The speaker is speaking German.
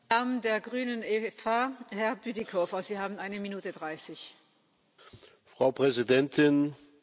Frau Präsidentin, Herr Kommissar, Herr Ratsvertreter, werte Kolleginnen und Kollegen!